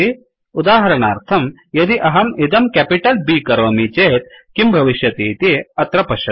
उदाहरणार्थं यदि अहम् इदं केपिटल् B करोमि चेत् किं भविष्यति अत्र इति पश्यतु